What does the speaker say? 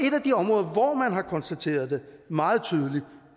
et af de områder hvor man har konstateret det meget tydeligt